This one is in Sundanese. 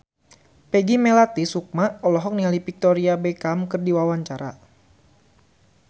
Peggy Melati Sukma olohok ningali Victoria Beckham keur diwawancara